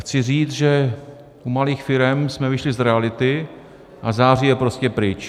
Chci říct, že u malých firem jsme vyšli z reality, a září je prostě pryč.